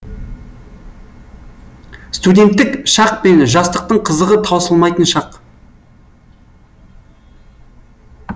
студенттік шақ пен жастықтың қызығы таусылмайтын шақ